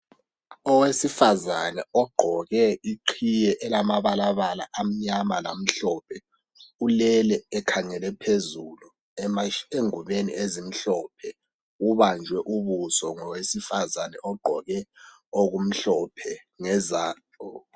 Owesifazana ogqoke iqhiye elamabalabala amnyama lamhlophe ulele ekhangele phezulu engubeni ezimhlophe ubanjwe ubuso ngowesifazane ogqoke okumhlophe ngezandla.